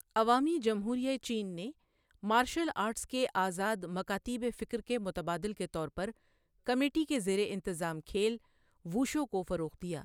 عوامی جمہوریہٴ چین نے مارشل آرٹس کے آزاد مکاتیب فکر کے متبادل کے طور پر کمیٹی کے زیر انتظام کھیل، ووشو، کو فروغ دیا۔